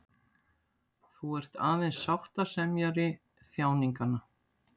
Þú ert aðeins sáttasemjari þjáninganna.